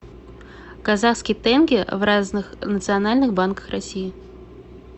казахский тенге в разных национальных банках россии